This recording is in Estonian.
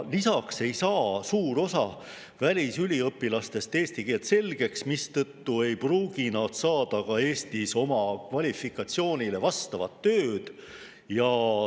Lisaks ei saa suur osa välisüliõpilastest eesti keelt selgeks, mistõttu ei pruugi nad saada ka Eestis oma kvalifikatsioonile vastavat tööd.